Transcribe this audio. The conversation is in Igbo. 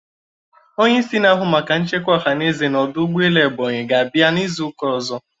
Onyeisi n'ahụ maka nchekwa ohaneze na ọdụ ụgbọelu Ebonyi ga-abia n'izuụka ọzọ.